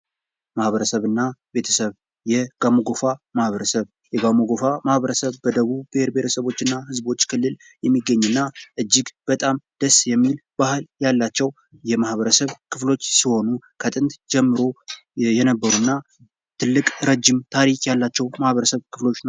ማኀበረሰብና ቤተሰብ የጋሞ ጎፋ ማህበረሰብ፦ የጋሞ ጎፋ ማህበረሰብ በደቡብ ህዝቦችና ብሔረሰቦች ክልል የሚገኝና እጅግ በጣም ደስ የሚል ባህል ያላቸው የማህበረሰብ ክፍሎች ሲሆኑ ከጥንት ጀምረው ያሉና ትልቅ ረጅም ታሪክ ያላቸው የማህበረሰብ ክፍሎች ናቸው።